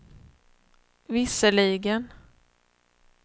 visserligen